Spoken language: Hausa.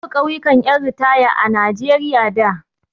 Babu ƙauyukan ƴan ritaya a Najeriya da.